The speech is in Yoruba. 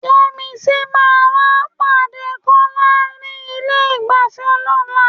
Yẹ́misí máa wá pàdé Kọ́lá ní ilé-ìgbafẹ́ lọ́la.